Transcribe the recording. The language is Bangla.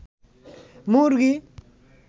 মুরগী